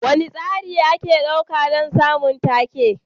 Wane tsari ake ɗauka don samun take?